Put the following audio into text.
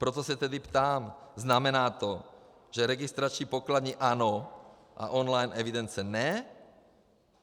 Proto se tedy ptám: Znamená to, že registrační pokladny ano, a online evidence ne?